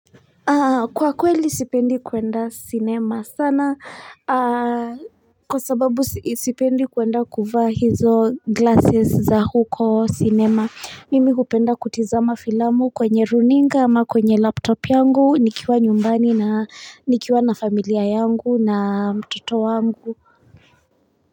Kwa kweli sipendi kuenda cinema sana kwa sababu sipendi kuenda kuvaa hizo glasses za huko cinema. Mimi hupenda kutizama filamu kwenye runinga ama kwenye laptop yangu nikiwa nyumbani na nikiwa na familia yangu na mtoto wangu.